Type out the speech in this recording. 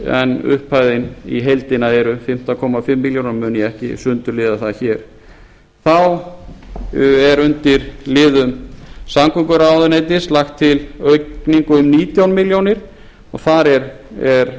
en upphæðin í heildina eru fimmtán og hálfa milljón og mun ég ekki sundurliða það hér þá er undir liðum samgönguráðuneytis lagt til aukning um nítján milljónir þar er